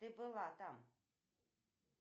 ты была там